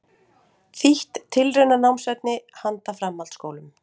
Þýtt tilraunanámsefni handa framhaldsskólum.